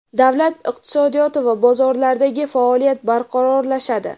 davlat iqtisodiyoti va bozorlardagi faoliyat barqarorlashadi.